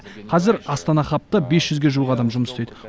қазір астана хабта бес жүзге жуық адам жұмыс істейді